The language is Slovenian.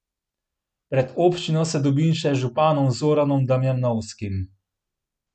Pred občino se dobim še z županom Zoranom Damjanovskim.